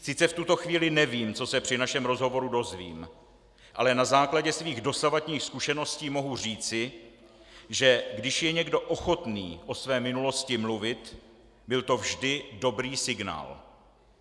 Sice v tuto chvíli nevím, co se při našem rozhovoru dozvím, ale na základě svých dosavadních zkušeností mohu říci, že když je někdo ochotný o své minulosti mluvit, byl to vždy dobrý signál.